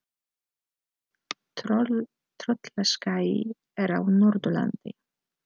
Tröllaskagi er á Norðurlandi.